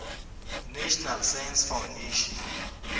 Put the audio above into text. national science foundation